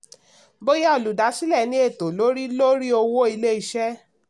bóyá olùdásílẹ̀ ní ẹ̀tọ̀ lórí lórí owó ilé-iṣẹ́.